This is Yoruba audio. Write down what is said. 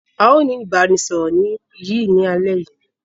Aó ni ìbánisọọ̀rọ̀ yìí ni alẹ̀ yìí.